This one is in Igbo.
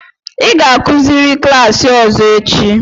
ị ga-akuziri klaasị ọzọ echi!